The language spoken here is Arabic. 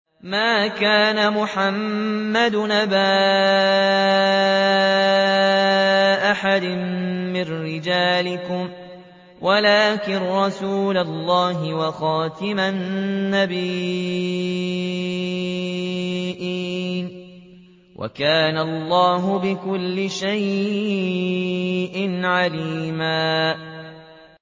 مَّا كَانَ مُحَمَّدٌ أَبَا أَحَدٍ مِّن رِّجَالِكُمْ وَلَٰكِن رَّسُولَ اللَّهِ وَخَاتَمَ النَّبِيِّينَ ۗ وَكَانَ اللَّهُ بِكُلِّ شَيْءٍ عَلِيمًا